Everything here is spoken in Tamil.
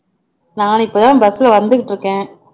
நான் இப்போ தான் bus ல வந்துகிட்டு இருக்கேன்